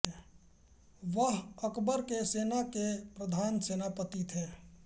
वह अकबर की सेना के प्रधान सेनापति थे